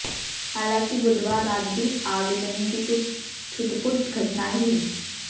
हालांकि बुधवार रात भी आगजनी की कुछ छुटपुट घटनाएं हुई